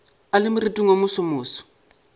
a le moriting wo mosomoso